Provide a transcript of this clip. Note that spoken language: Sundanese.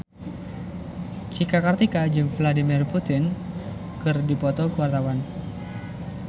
Cika Kartika jeung Vladimir Putin keur dipoto ku wartawan